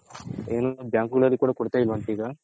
ಎಲ್ಲೂ bank ಗಳಲ್ಲೂ ಕೂಡ ಕೊಡ್ತ ಇಲ್ವಂತೆ ಈಗ